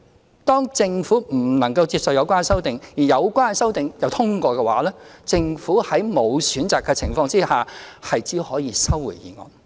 如果政府不能接受有關修正案，而有關修正案又獲得通過的話，政府在沒有選擇的情況下，只可以收回《條例草案》。